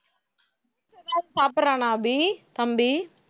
ஏதாவது சாப்பிடறானா அபி தம்பி